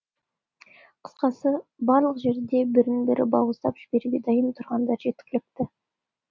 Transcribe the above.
қысқасы барлық жерде бірін бірі бауыздап жіберуге дайын тұрғандар жеткілікті